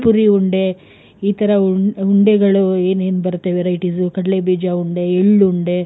ಪುರಿ ಉಂಡೆ, ಈ ತರ ಉಂಡೆಗಳು ಏನೇನ್ ಬರುತ್ತೆ varieties ಕಡ್ಲೆ ಬೀಜ ಉಂಡೆ ಎಲ್ಲುಂಡೆ,